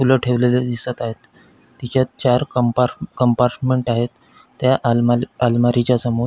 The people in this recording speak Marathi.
फूल ठेवलेले दिसत आहेत तेच्यात चार कंपार्ट कंपार्ट्मेंट आहेत त्या अलमा अलमारीच्या समोर --